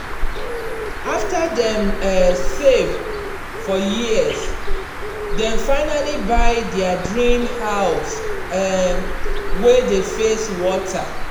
after dem um save for years dem finally buy their dream house um wey dey face water.